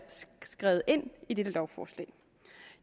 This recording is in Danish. skrevet ind i dette lovforslag